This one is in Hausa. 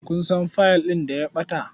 Kun san fiyil ɗin da ya ɓata?